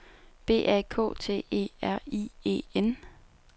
B A K T E R I E N